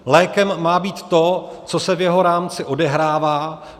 Lékem má být to, co se v jeho rámci odehrává.